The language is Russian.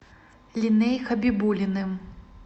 леней хабибуллиным